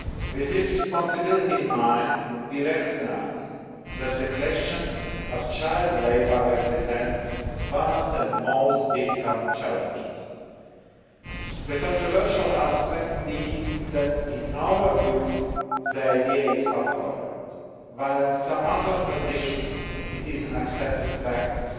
With this responsibility in mind, we recognise that the question of child labour represents one of the most difficult challenges the controversial aspect being that, in our view, the idea is abhorrent, while in some other traditions it is an accepted practice.